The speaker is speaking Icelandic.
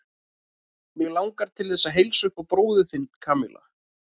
Mig langar til þess að heilsa upp á bróður þinn, Kamilla.